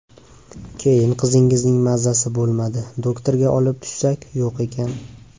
Keyin qizingizning mazasi bo‘lmadi, doktorga olib tushsak, yo‘q ekan.